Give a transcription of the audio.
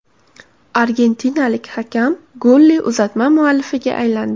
Argentinalik hakam golli uzatma muallifiga aylandi .